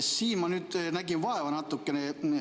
Siin ma nüüd nägin vaeva natukene.